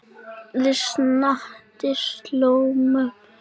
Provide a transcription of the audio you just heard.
Við Snati slógum upp hreysi.